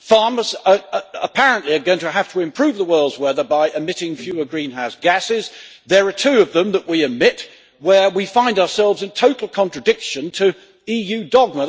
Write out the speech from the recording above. Farmers apparently are going to have to improve the world weather by emitting fewer greenhouse gases. There are two of them that we it emit where we find ourselves in total contradiction to EU dogma.